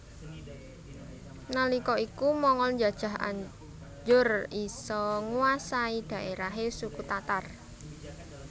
Nalika iku Mongol njajah anjur isa nguwasai dhaerahe suku Tatar